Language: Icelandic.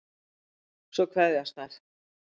Svo kveðjast þær.